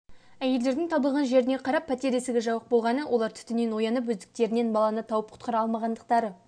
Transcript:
әйелдердің табылған жеріне қарап пәтер есігі жабық болмағаны олар түтіннен оянып өздіктерінен баланы тауып құтқара алмағандықтары